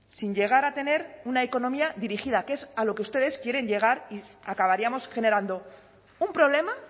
sin llegar a tener una economía dirigida que es a lo que ustedes quieren llegar y acabaríamos generando un problema